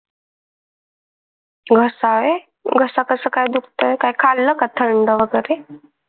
घसा. घसा कसा काय दुखतोय काही खाल्ल का थंड वगरे?